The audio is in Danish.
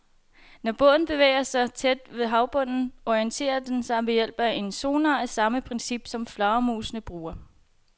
Når båden bevæger sig tæt ved havbunden, orienterer den sig ved hjælp af en sonar efter samme princip, som flagermusene bruger.